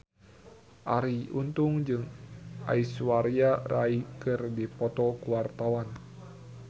Arie Untung jeung Aishwarya Rai keur dipoto ku wartawan